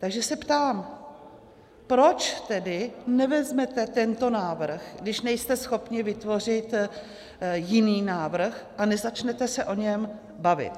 Takže se ptám, proč tedy nevezmete tento návrh, když nejste schopni vytvořit jiný návrh, a nezačnete se o něm bavit.